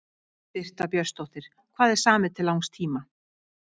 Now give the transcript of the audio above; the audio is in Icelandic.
Birta Björnsdóttir: Hvað er samið til langs tíma?